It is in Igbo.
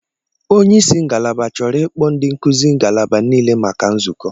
Onye isi ngalaba chọrọ ịkpọ ndi nkuzi ngalaba niile maka nzukọ.